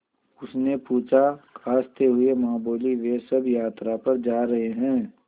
उसने पूछा खाँसते हुए माँ बोलीं वे सब यात्रा पर जा रहे हैं